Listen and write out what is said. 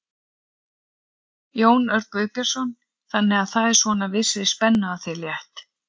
Jón Örn Guðbjartsson: Þannig að það er svona vissri spennu af þér létt?